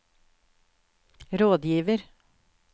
rådgiver